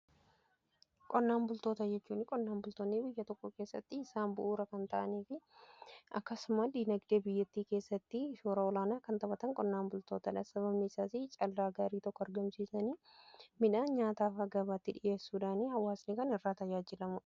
Qonnaan bultoota jechuun qonnaan bultoonni biyya tokko keessatti isaan bu'uura kan ta'anii fi akkasumas dinagdee biyyattii keessatti shoora olaanaa kan taphatan qonnaan bultoota dha. Sababni isaas callaa gaarii tokko argamsiisanii midhaan nyaataafaa gabaatti dhiheessuudhaan hawaasnii kan irraa tajaajilamudha.